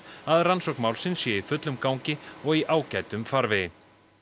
að rannsókn málsins sé í fullum gangi og í ágætum farvegi